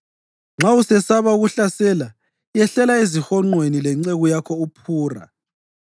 Nxa usesaba ukuhlasela, yehlela ezihonqweni lenceku yakho uPhura